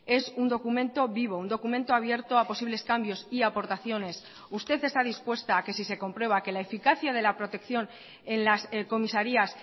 es un documento vivo un documento abierto a posibles cambios y aportaciones usted está dispuesta a que si se comprueba que la eficacia de la protección en las comisarías